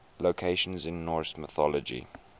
locations in norse mythology